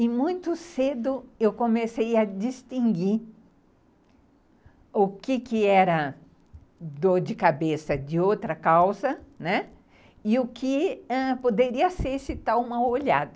E muito cedo eu comecei a distinguir o que era dor de cabeça de outra causa, né, e o que poderia ser esse tal mau - olhado.